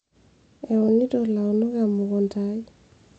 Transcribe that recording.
eunito ilaunok emukunta ai